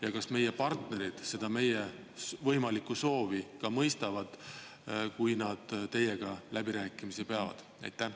Ja kas meie partnerid seda meie võimalikku soovi ka mõistavad, kui nad teiega läbirääkimisi peavad?